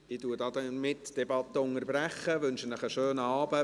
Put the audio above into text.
Damit unterbreche ich die Debatte und wünsche Ihnen einen schönen Abend.